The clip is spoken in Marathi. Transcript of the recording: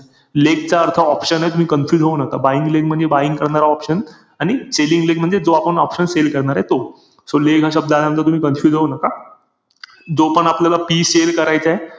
Leg चा अर्थ option ए तुम्ही confuse होऊ नका. Buying leg म्हणजे buying करणारा option. आणि selling leg म्हणजे जो आपण option sell करणारे तो. So leg हा शब्द आल्यानंतर तुम्ही confuse होऊ नका. जो पण आपल्याला PE sell करायचंय,